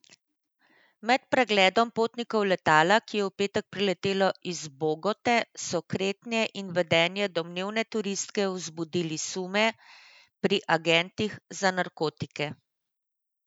Med pregledom potnikov letala, ki je v petek priletelo iz Bogote, so kretnje in vedenje domnevne turistke vzbudili sume pri agentih za narkotike.